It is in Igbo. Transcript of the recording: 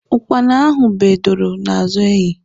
Ukpana ahụ bee doro n'azụ enyi